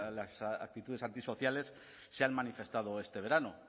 las actitudes antisociales se han manifestado este verano